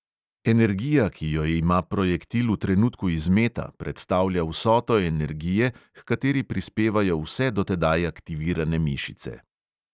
Energija, ki jo ima projektil v trenutku izmeta, predstavlja vsoto energije, h kateri prispevajo vse do tedaj aktivirane mišice.